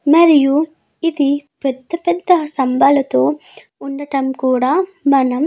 మరియు ఇది పెద్ద పెద్ద స్తంభాలతో ఉండడం కూడా మనం --